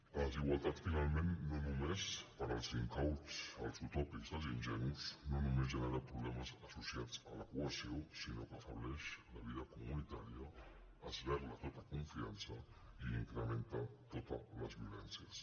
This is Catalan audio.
la desigualtat finalment no només per als incauts els utòpics i els ingenus no només genera problemes associats a la cohesió sinó que afebleix la vida comunitària esberla tota confiança i incrementa totes les vivències